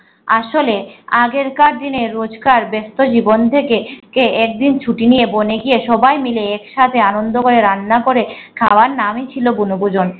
আসলে আগে কার দিনের রোজকার ব্যস্ত জীবন থেকে একদিন ছুটি নিয়ে বনে গিয়ে সবাই মিলে এক সাথে আনন্দ করে রান্না করে খাওয়া নামই ছিল বনভূজন